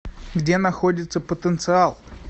где находится потенциал